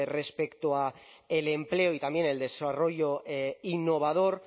respecto a el empleo y también el desarrollo innovador